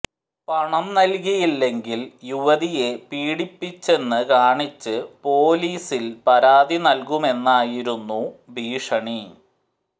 പണം നൽകിയില്ലെങ്കിൽ യുവതിയെ പീഡിപ്പിച്ചെന്ന് കാണിച്ച് പൊലീസിൽ പരാതി നൽകുമെന്നായിരുന്നു ഭീഷണി